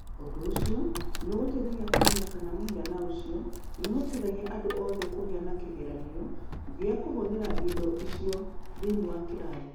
Ũndũ ũcio nĩ ũgũteithagia kũmenya kana mũhaano ũcio nĩ ũhotithagia andũ othe kũgĩa na kĩgeranio kĩna gĩa kũhũthĩra indo icio thĩinĩ wa kĩrathi.